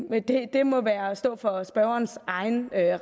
det må stå for spørgerens egen